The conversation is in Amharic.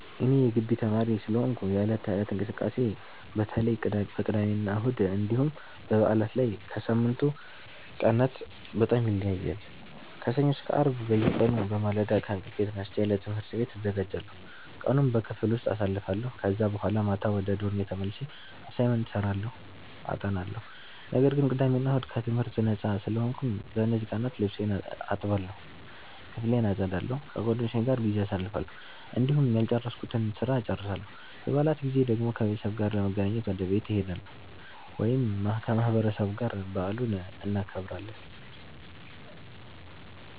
እኔ የጊቢ ተማሪ ስለሆንኩ የዕለት ተዕለት እንቅስቃሴዬ በተለይ በቅዳሜና እሁድ እንዲሁም በበዓላት ላይ ከሳምንቱ ቀናት በጣም ይለያያል። ከሰኞ እስከ አርብ በየቀኑ በማለዳ ከእንቅልፌ ተነስቼ ለትምህርት ቤት እዘጋጃለሁ፣ ቀኑን በክፍል ውስጥ አሳልፋለሁ ከዛ በኋላ ማታ ወደ ዶርሜ ተመልሼ አሳይመንት እሰራለሁ አጠናለሁ። ነገር ግን ቅዳሜ እና እሁድ ከትምህርት ነጻ ስለሆንኩ፣ በእነዚህ ቀናት ልብሴን እጠባለሁ፣ ክፍሌን አጸዳለሁ፣ ከጓደኞቼ ጋር ጊዜ አሳልፋለሁ፣ እንዲሁም ያልጨረስኩትን ስራ እጨርሳለሁ። በበዓላት ጊዜ ደግሞ ከቤተሰቤ ጋር ለመገናኘት ወደ ቤት እሄዳለሁ ወይም ከማህበረሰቡ ጋር በዓሉን እናከብራለን።